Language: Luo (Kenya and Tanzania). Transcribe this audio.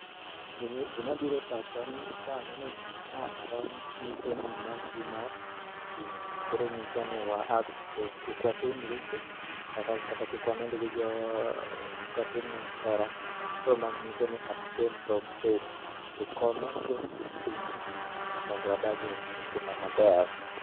Gim gima bire pacha ni ka aneno gini ma en nyiso ni ma tuo mar okimi, koro ng'isowa ni wa abstain. Kik watim richo kata kik wanind gi jo kik watim hera, kor ma nyiso ni astain from AIDS, tukomeshe ukimwi. Mondo wadage e ngima maber.